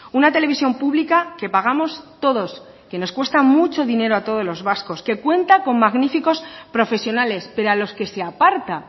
una televisión pública que pagamos todos que nos cuesta mucho dinero a todos los vascos que cuenta con magníficos profesionales pero a los que se aparta